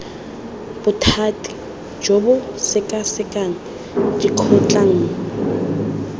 bothati jo bo sekasekang dikgotlang